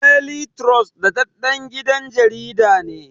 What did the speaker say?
Deli turos daɗaɗɗen gidan jarida ne